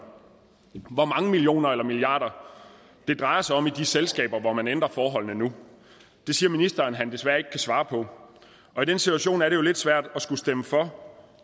hvor mange millioner eller milliarder det drejer sig om i de selskaber hvor man ændrer forholdene nu det siger ministeren at han desværre ikke kan svare på og i den situation er det jo lidt svært at skulle stemme for